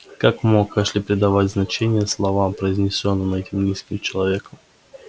как мог эшли придавать значение словам произнесённым этим низким человеком